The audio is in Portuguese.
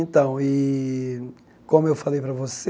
Então, e como eu falei para você,